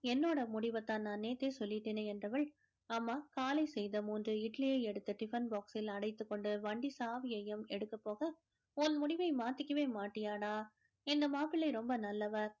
என்னோட முடிவ தான் நான் நேத்தே சொல்லிட்டேனே என்றவள் அம்மா காலை செய்த மூன்று இட்லியை எடுத்து tiffin box ல் அடைத்துக்கொண்டு வண்டி சாவியையும் எடுக்க போக உன் முடிவை மாத்திக்கவே மாட்டியாடா இந்த மாப்பிளை ரொம்ப நல்லவர்